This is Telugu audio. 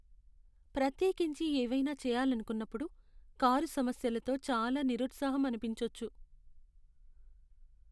ప్రత్యేకించి ఏవైనా చెయ్యాలనుకున్నప్పుడు కారు సమస్యలతో చాలా నిరుత్సాహం అనిపించొచ్చు.